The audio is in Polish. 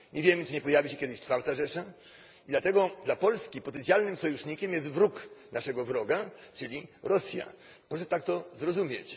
Nie wiem czy nie pojawi się kiedyś IV Rzesza dlatego dla Polski potencjalnym sojusznikiem jest wróg naszego wroga, czyli Rosja, proszę to tak zrozumieć.